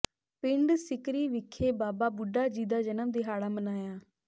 ਪਿੰਡ ਸੀਕਰੀ ਵਿਖੇ ਬਾਬਾ ਬੁੱਢਾ ਜੀ ਦਾ ਜਨਮ ਦਿਹਾੜਾ ਮਨਾਇਆ